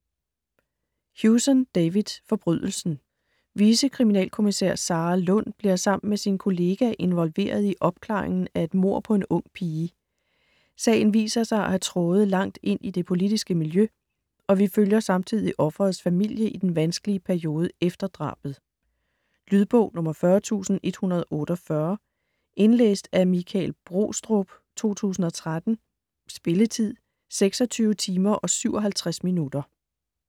Hewson, David: Forbrydelsen Vicekriminalkommisær Sarah Lund bliver sammen med sin kollega involveret i opklaringen af et mord på en ung pige. Sagen viser sig at have tråde langt ind i det politiske miljø, og vi følger samtidig offerets familie i den vanskelige periode efter drabet. Lydbog 40148 Indlæst af Michael Brostrup, 2013. Spilletid: 26 timer, 57 minutter.